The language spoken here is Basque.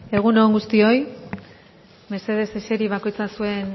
egun on guztioi mesedez eseri bakoitza zuen